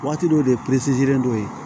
Waati dɔ de don